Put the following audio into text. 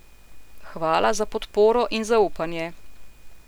Hvala za podporo in zaupanje!